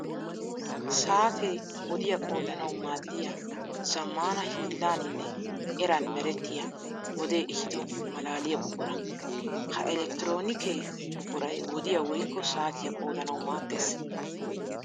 Saate wodiya qoodanawu maadiya zamaana hiillaninne eran merettiya wode ehiddo malaaliya buqura. Ha elekkitroonikke buquray wodiya woykko saatiya qoodanawu maades.